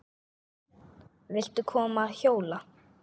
Viltu koma að hjóla?